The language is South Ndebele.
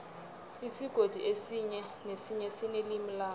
isigodi esinye nesinye sinelimi laso